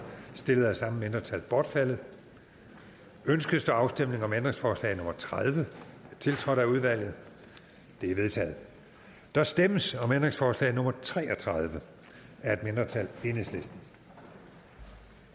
stillet af samme mindretal bortfaldet ønskes der afstemning om ændringsforslag nummer tredive tiltrådt af udvalget det er vedtaget der stemmes om ændringsforslag nummer tre og tredive af et mindretal og